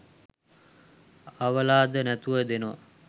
අවලාද නැතුව දෙනව